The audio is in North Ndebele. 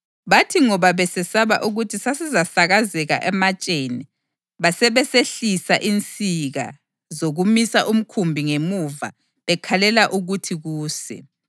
Bathi ngoba besesaba ukuthi sasizasakazeka ematsheni basebesehlisa insika zokumisa umkhumbi ngemuva bekhalela ukuthi kuse.